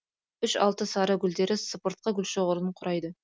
үш алты сары гүлдері сыпыртқы гүлшоғырын құрайды